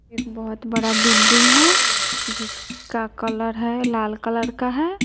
एक बहोत बड़ा बिल्डिंग हैं जिसका कलर है लाल कलर का है।